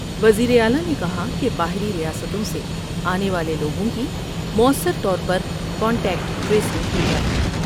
وزیر اعلی نے کہا کہ باہری ریاستوں سے آنے والے لوگوں کی موثر طور پر کنٹیکٹ ٹریسنگ کی جائے ۔